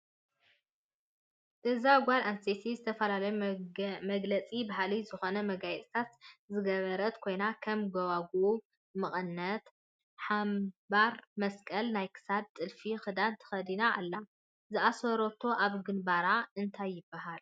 እዛ ጋል አነሰተይቲ ዝተፈላለዮ መግለፂ ባህሊ ዝኮነ መጋየፅታት ዝገበረት ኮይና ከም ጎባግብ ፣ መቀነት ፣ሓምባር ፣መሰቀል ናይክሳድ ጥልፍ ክዳን ተከድና አላ ።ዝአሰሮቶ አብ ገንበራ እንታይ ይበሃል?